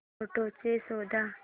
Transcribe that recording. photos शोध